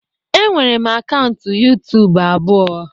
Enwere m akaụntụ YuTubu abụọ